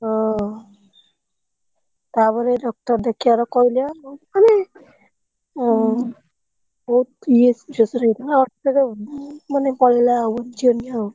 ହଁ ତାପରେ doctor ଦେଖେଇଆର କହିଲେ ଆଉ କହିଲେ ଓହୋ ମାନେ ପଡିଲା ଆଉ ଛେମି ଆଉ।